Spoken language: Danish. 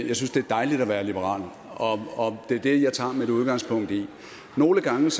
jeg synes det er dejligt at være liberal og det er det jeg tager mit udgangspunkt i nogle gange